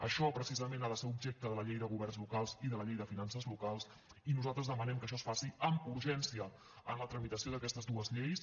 això precisament ha de ser objecte de la llei de governs locals i de la llei de finances locals i nosaltres demanem que això es faci amb urgència en la tramitació d’aquestes dues lleis